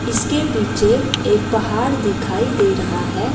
इसके पीछे एक पहाड़ दिखाई दे रहा है।